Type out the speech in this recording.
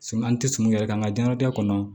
An tɛ son yɛrɛ kan an ka diɲɛnatigɛ kɔnɔ